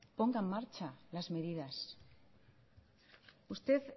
ponga en marcha las medidas usted